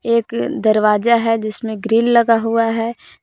एक दरवाजा है जिसमें ग्रील लगा हुआ है।